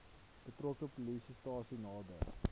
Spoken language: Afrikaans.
betrokke polisiestasie nader